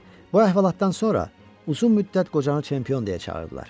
Bu əhvalatdan sonra uzun müddət qocanı çempion deyə çağırdılar.